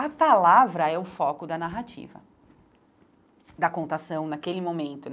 A palavra é o foco da narrativa, da contação naquele momento.